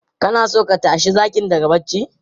Kana so ka tashi zakin daga barci?